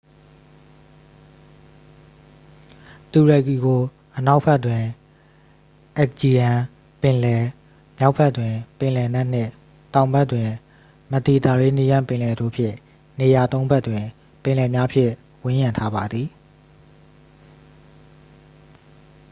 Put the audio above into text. တူရကီကို အနောက်ဘက်တွင် aegean ပင်လယ် မြောက်ဘက်တွင် ပင်လယ်နက်နှင့် တောင်ဘက်တွင် မက်ဒီတာရေးနီးယန်းပင်လယ်တို့ဖြင့် နေရာသုံးဖက်တွင် ပင်လယ်များဖြင့် ဝန်းရံထားပါသည်